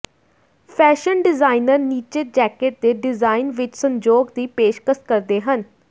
fashion designer ਨੀਚੇ jacket ਦੇ design ਵਿਚ ਸੰਜੋਗ ਦੀ ਪੇਸ਼ਕਸ਼ ਕਰਦੇ ਹਨ